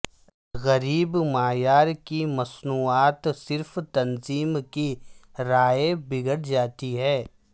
غریب معیار کی مصنوعات صرف تنظیم کی رائے بگڑ جاتی ہے